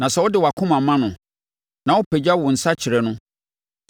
“Na sɛ wode wʼakoma ma no na wopagya wo nsa kyerɛ no,